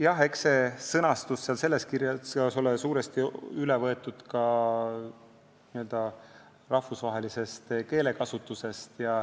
Jah, eks seletuskirja sõnastus ole suuresti üle võetud ka n-ö rahvusvahelisest keelekasutusest.